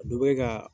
A dɔ bɛ ka